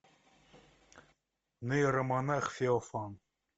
нейромонах феофан